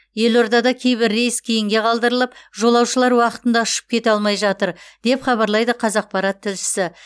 елордада кейбір рейс кейінге қалдырылып жолаушылар уақытында ұшып кете алмай жатыр деп хабарлайды қазақпарат тілшісі